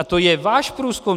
A to je váš průzkum.